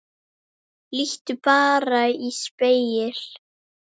Líttu bara í spegil.